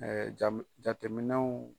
Ɛɛ jam jateminɛw